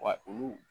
Wa olu